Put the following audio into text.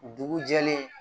Dugu jɛlen